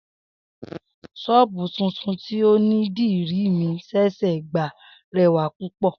S̩ó̩ò̩bù tuntun tí onídìrí mi s̩è̩s̩è̩ gbà re̩wà púpò̩